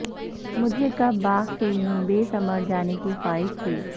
مجھے کب باغ سے یوں بے ثمر جانے کی خواہش تھی